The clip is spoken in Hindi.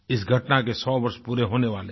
इस घटना के 100 वर्ष पूरे होने वाले हैं